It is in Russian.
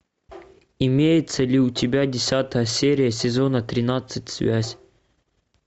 имеется ли у тебя десятая серия сезона тринадцать связь